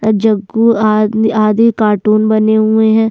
अ जग्गू आदमी आदि कार्टून बने हुए है।